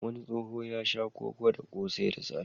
Wani tsoho ya sha koko da ƙosai da safe.